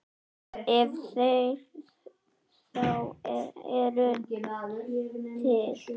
Ef þeir þá eru til.